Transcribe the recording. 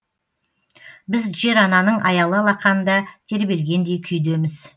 біз жер ананың аялы алақанында тербелгендей күйдеміз